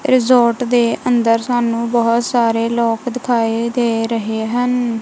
Resort ਦੇ ਅੰਦਰ ਸਾਨੂੰ ਬਹੁਤ ਸਾਰੇ ਲੋਕ ਦਿਖਾਈ ਦੇ ਰਹੇ ਹਨ।